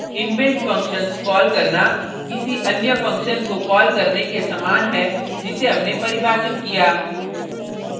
inbuilt functions call करना किसी अन्य फंक्शन को कॉल करने के समान है जिसे हमने परिभाषित किया